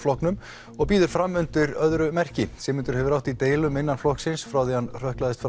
honum og býður fram undir öðru merki Sigmundur hefur átt í deilum innan flokksins frá því að hann hrökklaðist